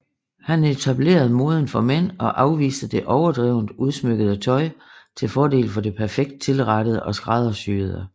Han etablerede moden for mænd og afviste det overdrevent udsmykkede tøj til fordel for det perfekt tilrettede og skræddersyede